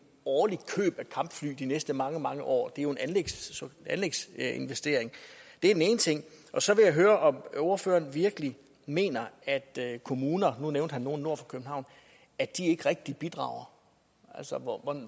årligt køb af kampfly de næste mange mange år det er en anlægsinvestering det er den ene ting så vil jeg høre om ordføreren virkelig mener at kommuner nu nævnte han nogle nord for københavn ikke rigtig bidrager